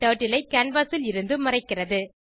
turtle ஐ canvas ல் இருந்து மறைக்கிறது